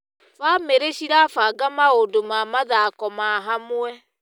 Bamĩrĩ cirabanga maũndũ ma mathako ma hamwe.